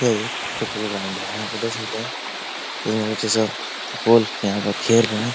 ये एक football ground है | यहाँ पर देख सकते हैं तीनो अथी सब फुटबॉल यहाँ पर खेल रहे हैं ।